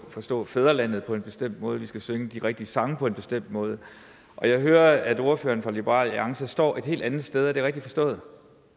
forstå fædrelandet på en bestemt måde at vi skal synge de rigtige sange på en bestemt måde jeg hører at ordføreren for liberal alliance står et helt andet sted er det rigtigt forstået